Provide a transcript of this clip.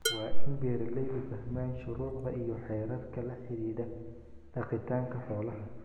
Waa in beeralaydu fahmaan shuruucda iyo xeerarka la xidhiidha dhaqitaanka xoolaha.